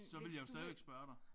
Så ville jeg jo stadigvæk spørge dig